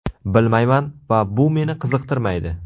Bilmayman va bu meni qiziqtirmaydi.